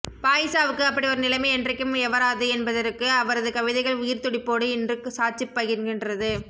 பாயிசாவுக்கு அப்படி ஒரு நிலமை என்றைக்கும் எவராது என்பதற்கு அவரது கவிதைகள் உயிர்த் துடிப்போடுப் இன்று சாட்சிப் பகர்கின்றது